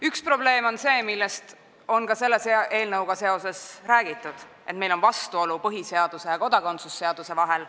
Üks probleem on see, millest on ka selle eelnõuga seoses räägitud: meil on vastuolu põhiseaduse ja kodakondsuse seaduse vahel.